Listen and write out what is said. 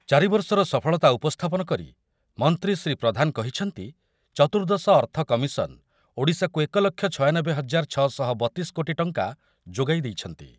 ଚାରିବର୍ଷର ସଫଳତା ଉପସ୍ଥାପନ କରି ମନ୍ତ୍ରୀ ଶ୍ରୀ ପ୍ରଧାନ କହିଛନ୍ତି, ଚତୁର୍ଦ୍ଦଶ ଅର୍ଥ କମିଶନ୍ ଓଡ଼ିଶାକୁ ଏକଲକ୍ଷ ଛୟାନବେ ହଜାର ଛଅଶହ ବତିଶି କୋଟି ଟଙ୍କା ଯୋଗାଇ ଦେଇଛନ୍ତି।